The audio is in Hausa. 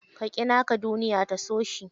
Ka ƙi naka duniya ta so shi.